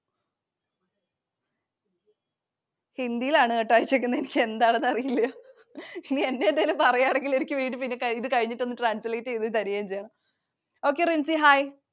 Hindi യിൽ ആണു കെട്ടോ അയച്ചേക്കുന്നത്. എനിക്ക് എന്താണെന്നു അറിയില്ല. ഇനി എന്നെ എന്തേലും പറയുവാണെങ്കിൽ എനിക്ക് വീണ്ടും ഇത് കഴിഞ്ഞിട്ടു ഒന്ന് translate ചെയ്തുതരികയും ചെയ്യണം, Okay Rincy, Hi.